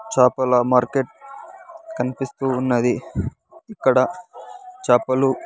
చాపల మార్కెట్ కన్పిస్తూ ఉన్నది ఇక్కడ చాపలు.